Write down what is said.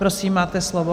Prosím, máte slovo.